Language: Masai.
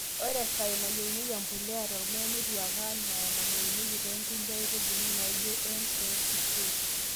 Ore isae nayieunyieki embulia te ormuya netieu ake anaa nayieunyieki toonkulie aitbuli naijo N oo K